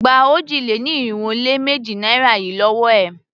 Gba òjì-lé-ní-irinwó-lé-méjì naira yìí lówó è!